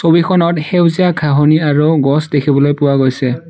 ছবিখনত সেউজীয়া ঘাঁহনি আৰু গছ দেখিবলৈ পোৱা গৈছে।